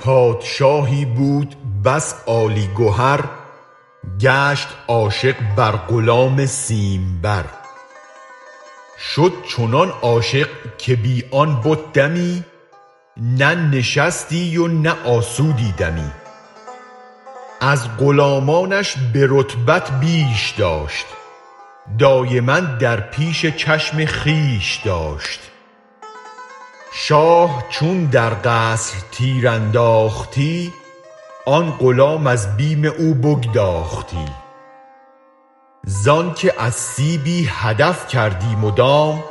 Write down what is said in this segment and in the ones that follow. پادشاهی بود بس عالی گهر گشت عاشق بر غلام سیم بر شد چنان عاشق که بی آن بت دمی نه نشستی و نه آسودی دمی از غلامانش به رتبت بیش داشت دایما در پیش چشم خویش داشت شاه چون در قصر تیر انداختی آن غلام از بیم او بگداختی زآنک از سیبی هدف کردی مدام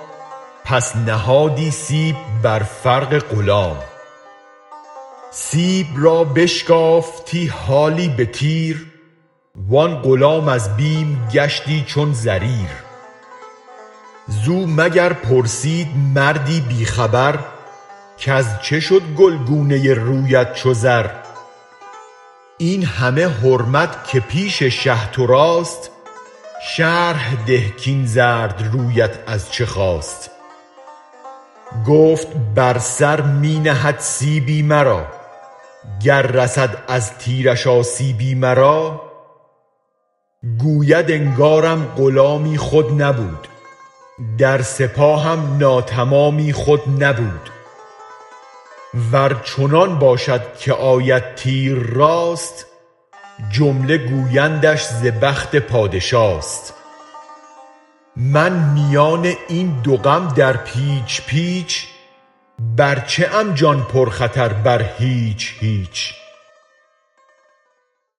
پس نهادی سیب بر فرق غلام سیب را بشکافتی حالی به تیر و آن غلام از بیم گشتی چون زریر زو مگر پرسید مردی بی خبر کز چه شد گلگونه رویت چو زر این همه حرمت که پیش شه تو راست شرح ده کاین زرد رویت از چه خاست گفت بر سر می نهد سیبی مرا گر رسد از تیرش آسیبی مرا گوید انگارم غلامی خود نبود در سپاهم ناتمامی خود نبود ور چنان باشد که آید تیر راست جمله گویندش ز بخت پادشاست من میان این دو غم در پیچ پیچ بر چه ام جان پر خطر بر هیچ هیچ